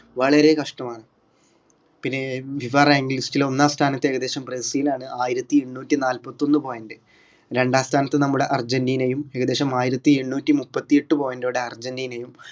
വളരെ കഷ്ടമാണ് പിന്നെ FIFArank listil ൽ ഒന്നാം സ്ഥാനത്ത് ഏകദേശം ബ്രസീലാണ് ആയിരത്തി ഇരുനൂറ്റി നാൽപത്തൊന്ന് point രണ്ടാം സ്ഥാനത്ത് നമ്മുടെ അർജന്റീനയും ഏകദേശം ആയിരത്തി എണ്ണൂറ്റി മുപ്പത്തിഎട്ട് point ഓടെ അർജന്റീനയും